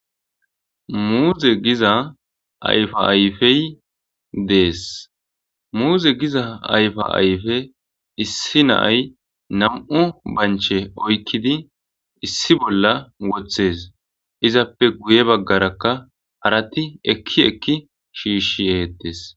muuze giza ayfa ayfey dees muuze giza ayfa ayfe issi naay nam7u banche oykkidi issi bolla woththes izappe guye baggarakka harati ekki ekki shiishshi yeettes